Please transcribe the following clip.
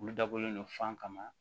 Olu dabɔlen don fan kama